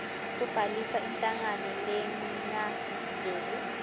kubhalisa inhlangano lengazuzi